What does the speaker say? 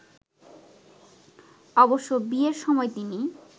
অবশ্য বিয়ের সময় তিনি